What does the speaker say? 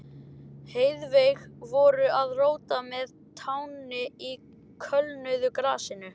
Heiðveig voru að róta með tánni í kulnuðu grasinu.